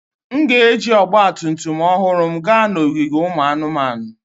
M ga-eji ọgba tum tum ọhụrụ m gaa n'ogige ụmụ anụmanụ.